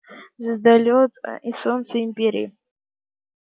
звездолёт и солнце империи